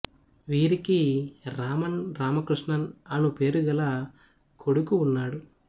వీరికి రామన్ రామకృష్ణన్ అను పేరు గల కొడుకు ఉన్నాడు